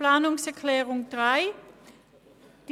Zu Planungserklärung 3: